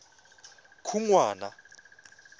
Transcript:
khunwana